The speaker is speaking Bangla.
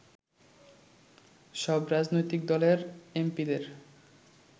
সব রাজনৈতিক দলের এমপি’দের